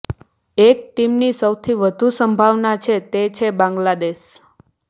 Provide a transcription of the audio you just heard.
એક ટીમની સૌથી વધુ સંભાવના છે તે છે બાંગ્લાદેશ